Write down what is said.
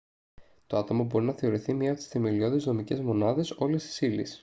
το άτομο μπορεί να θεωρηθεί μια από τις θεμελιώδεις δομικές μονάδες όλης της ύλης